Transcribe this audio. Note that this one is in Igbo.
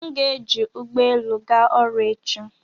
M ga-eji ụgbọelu ga ọrụ echi